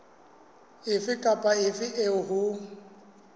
efe kapa efe eo ho